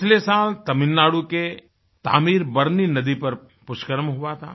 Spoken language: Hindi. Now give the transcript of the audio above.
पिछले साल तमिलनाडु के तामीर बरनी नदी पर पुष्करम हुआ था